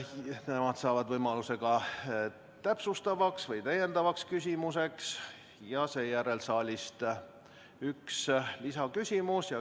Nemad saavad võimaluse ka täpsustavaks või täiendavaks küsimuseks ja seejärel võib saalist tulla üks lisaküsimus.